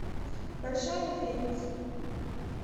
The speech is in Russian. большая медведица